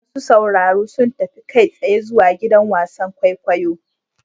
Masu sauraro sun tafi kai tsaye zuwa gidan wasan kwaikwayo.